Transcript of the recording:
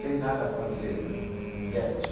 sem nada a fazer né, um tédio.